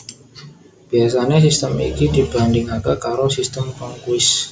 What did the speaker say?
Biasané sistem iki dibandhingaké karo Sistem Cronquist